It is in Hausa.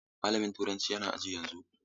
Malamin turanci yana aji yanzu.